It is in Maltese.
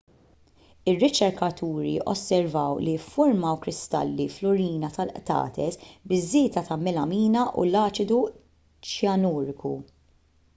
ir-riċerkaturi osservaw li ffurmaw kristalli fl-urina tal-qtates biż-żieda tal-melamina u l-aċidu ċjanuriku